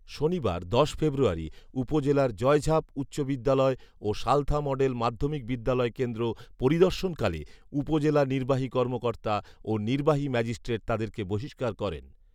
শনিবার দশ ফেব্রুয়ারি উপজেলার জয়ঝাপ উচ্চ বিদ্যালয় ও সালথা মডেল মাধ্যমিক বিদ্যালয় কেন্দ্র পরিদর্শনকালে উপজেলা নির্বাহী কর্মকর্তা ও নির্বাহী ম্যাজিস্ট্রেট তাদেরকে বহিষ্কার করেন